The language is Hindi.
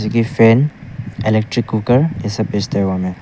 फैन इलेक्ट्रिक कुकर ये सब बेचते हमें--